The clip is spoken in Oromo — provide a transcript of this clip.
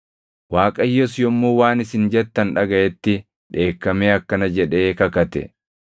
Waaqayyos yommuu waan isin jettan dhagaʼetti dheekkamee akkana jedhee kakate: